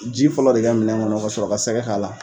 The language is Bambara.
Ji fɔlɔ de kɛ minɛ kɔnɔ ka sɔrɔ ka sɛgɛ k'a la.